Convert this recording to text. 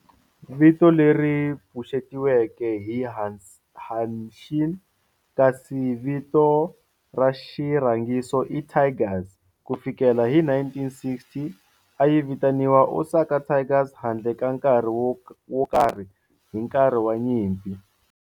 Vito leri pfuxetiweke hi "Hanshin" kasi vito ra xirhangiso i "Tigers". Ku fikela hi 1960, a yi vitaniwa Osaka Tigers handle ka nkarhi wo karhi hi nkarhi wa nyimpi.